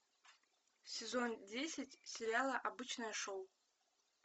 сезон десять сериала обычное шоу